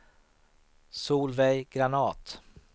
Solveig Granath